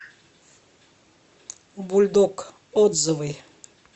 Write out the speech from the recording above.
бульдог отзывы